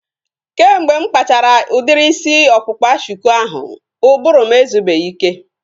Kemgbe mụ kpachara udiri isi ọkpụkpa shuku ahu, ụbụrụ m ezubeghi ike